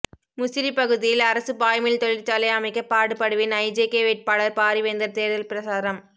முசிறி பகுதியில் அரசு பாய்மில் தொழிற்சாலை அமைக்க பாடுபடுவேன் ஐஜேகே வேட்பாளர் பாரிவேந்தர் தேர்தல் பிரசாரம்